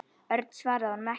Örn svaraði honum ekki.